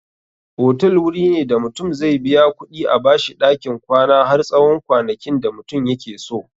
Otal wuri ne da mutum zai biya kuɗi a bashi ɗakin kwana har tsawon kwanakin da mutum yakeso.